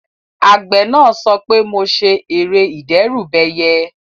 Àgbẹ̀ náà sọ pé "mo ṣe ère ìdẹ́rùbẹyẹ"